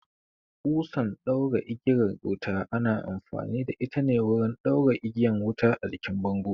Ƙusan ɗaura igiyar wuta ana amfani da ita ne wurin ɗaura igiyan wuta a jikin bango